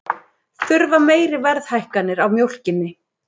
Þurfa meiri verðhækkanir á mjólkinni